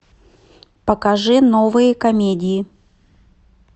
покажи новые комедии